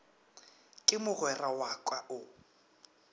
ke mogwera wa ka o